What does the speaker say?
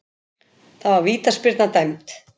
Það var vítaspyrna dæmd.